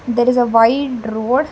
there is a wild road.